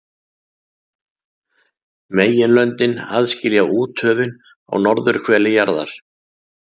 Meginlöndin aðskilja úthöfin á norðurhveli jarðar.